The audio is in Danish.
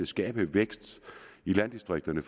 skabe vækst i landdistrikterne